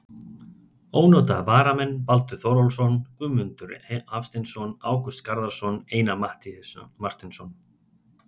Ónotaðir varamenn: Baldur Þórólfsson, Guðmundur Hafsteinsson, Ágúst Garðarsson, Einar Marteinsson.